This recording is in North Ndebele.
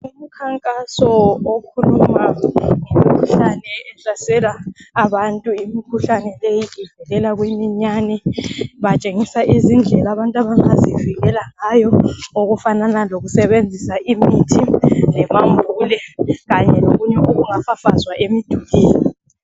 Umkhankaso okhuluma ngemikhuhlane ehlasela abantu. Imikhuhlane leyi ivelela kumiyane. Batshengisa izindlela abantu abangazivikela ngayo. Okufanana lokusebenzisa imithi. Kanye lokunye okungafafazwa emdulwini.